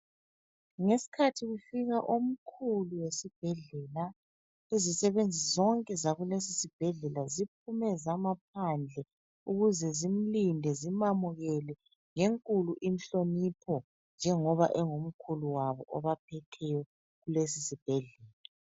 Ngesikhathi kufika omkhulu wesibhedlela, izisebenzi zonke zakulesisibhedlela ziphume zama phandle ukuze zimlinde zimamukele ngenkulu inhlonipho njengoba engomkhulu wabo obaphetheyo kulesosibhedlela.